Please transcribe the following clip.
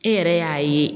E yɛrɛ y'a ye